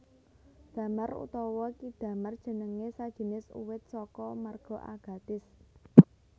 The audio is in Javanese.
Damar utawa ki damar jeneng sajinis uwit saka marga Agathis